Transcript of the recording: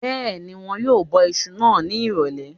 Bẹ́ẹ̀ni, wọn yóò bọ isu náà ní ìrọ̀lẹ̀